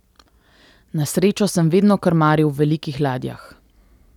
Na srečo sem vedno krmaril v velikih ladjah.